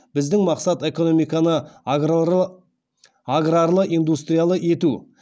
біздің мақсат экономиканы аграрлы индустриялы ету